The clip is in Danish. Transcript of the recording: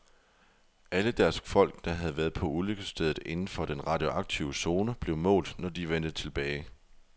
Alle deres folk, der havde været på ulykkesstedet inden for den radioaktive zone, blev målt, når de vendte tilbage.